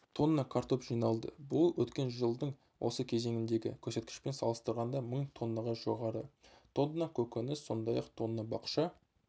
тонна картоп жиналды бұл өткен жылдың осы кезеңіндегі көрсеткішпен салыстырғанда мың тоннаға жоғары тонна көкөніс сондай-ақ тонна бақша